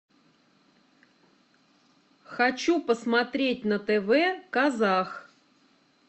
хочу посмотреть на тв казах